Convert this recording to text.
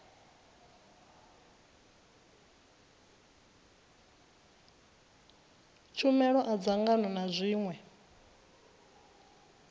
tshumelo a dzangano na zwiṅwe